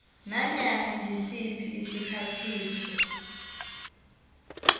nanyana ngisiphi isiphathiswa